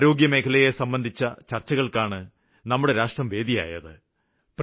ആരോഗ്യമേഖലയെ സംബന്ധിച്ച ചര്ച്ചകള്ക്കാണ് നമ്മുടെ രാഷ്ട്രം വേദിയായത്